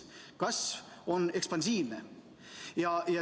Kasv on ekspansiivne.